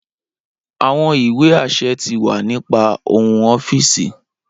Awọn iwe aṣẹ ti wa ni pa ohun ọfiisi.